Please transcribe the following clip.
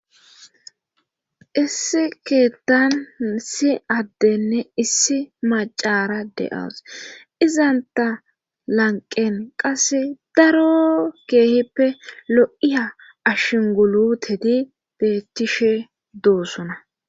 issi keettansi addenne issi macara de7awos izanta lanqen qase daro keehippe lo7iya ashinguluteti bettishe doossona